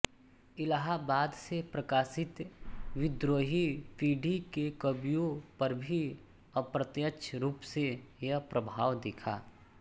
इलाहाबाद से प्रकाशित विद्रोही पीढ़ी के कवियों पर भी अप्रत्यक्ष रूप से यह प्रभाव दिखा